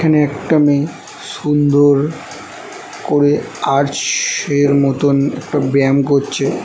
এখানে একটা মেয়ে সুন্দর করে আর্চ এর মতো একটা ব্যায়াম করছে।